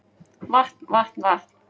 Vatn vatn vatn